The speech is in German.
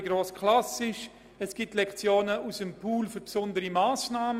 Weiter gibt es Lektionen aus dem Pool für besondere Massnahmen.